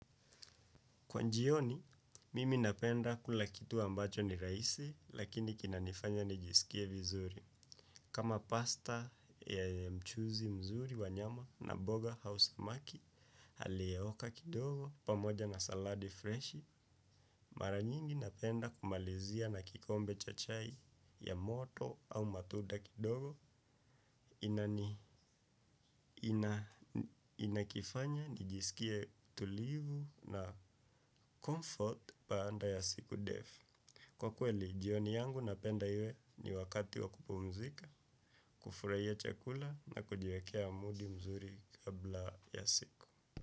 Kwa jioni mimi napenda kula kitu ambacho ni rahisi lakini kinanifanya nijiskie vizuri. Kama pasta yenye mchuzi mzuri wa nyama na mboga au samaki, aliyeoka kidogo, pamoja na saladi freshi, mara nyingi napenda kumalizia na kikombe cha chai ya moto au matunda kidogo. Inakifanya nijisikie tulivu na comfort baada ya siku ndefu. Kwa kweli, jioni yangu napenda iwe ni wakati wa kupumzika, kufurahia chakula na kujiwekea mudi mzuri kabla ya siku.